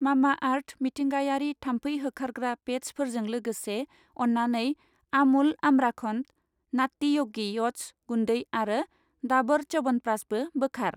Mamaearth मिथिंगायारि थामफै होखारग्रा पेट्चफोर जों लोगोसे, अन्नानै आमुल आम्राखन्ड, नात्ति य'गि अत्स गुन्दै आरो दाबर च्यावनप्राशबो बोखार।